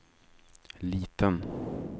liten